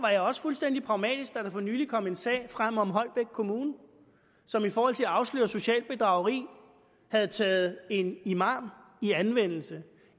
jeg også fuldstændig pragmatisk da der for nylig kom en sag frem om holbæk kommune som i forhold til at afsløre socialt bedrageri havde taget en imam i anvendelse